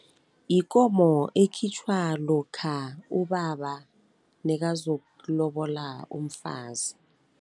Yikomo ekhitjhwa lokha ubaba nekazokulobola umfazi.